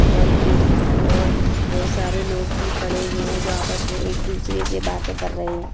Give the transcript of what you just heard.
और एक दूका और बहुत सारे लोग भी खड़े हुए है जो आपस मे एक दूसरे से बातें कर रहे है।